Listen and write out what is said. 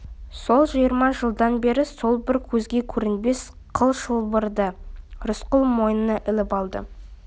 сол жиырма жылдан бері сол бір көзге көрінбес қыл шылбырды рысқұл мойнына іліп алды